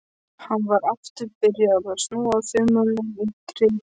Hann var aftur byrjaður að snúa þumlunum í greip sinni.